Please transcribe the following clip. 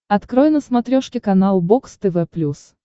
открой на смотрешке канал бокс тв плюс